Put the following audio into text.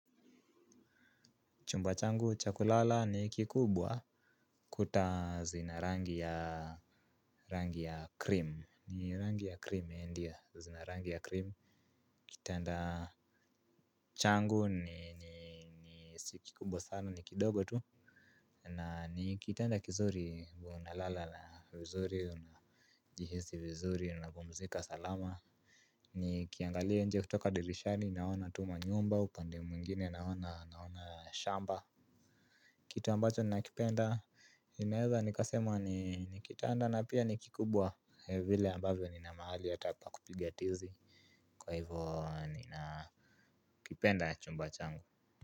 Chumba changu cha kulala ni kikubwa. Kuta zina rangi ya rangi ya krimu, ni rangi ya krimu ndiyo zina rangi ya krimu. Kitanda changu si kikubwa sana ni kidogo tu. Na ni kitanda kizuri huwa na lala vizuri. Jihisi vizuri, unapumzika salama. Nikiangalia nje kutoka dirishani naona tu manyumba, upande mwingine naona naona shamba. Kitu ambacho nina kipenda ninaweza nikasema ni kitanda, na pia ni kikubwa vile ambavyo nina mahali hata pa kupiga tizi, kwa hiyo ninakipenda chumba changu.